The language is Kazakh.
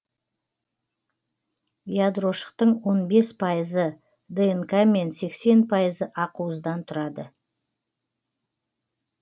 ядрошықтың он бес пайызы днқ мен сексен пайызы ақуыздан тұрады